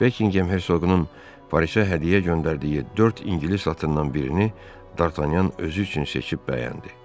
Bekinqem hersoğunun Parisə hədiyyə göndərdiyi dörd ingilis atından birini Dartanyan özü üçün seçib bəyəndi.